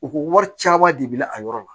U ko wari caman de bila a yɔrɔ la